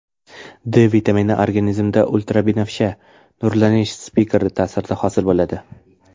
D vitamini organizmda ultrabinafsha nurlanish spektri ta’sirida hosil bo‘ladi.